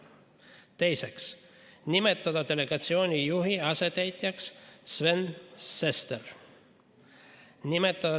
Teiseks, nimetada delegatsiooni juhi asetäitjaks Sven Sester.